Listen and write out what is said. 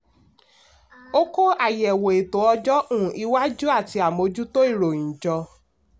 ó kó àyẹ̀wò ètò ọjọ́ um iwájú àti àmójútó ìròyìn jọ.